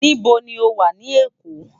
Nibó ni ó wá ni Ekó?